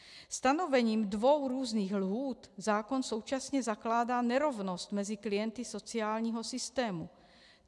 Stanovením dvou různých lhůt zákon současně zakládá nerovnost mezi klienty sociálního systému.